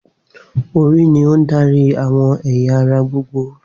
Orí ní on darí àwọn ẹ̀yà ara gbogbo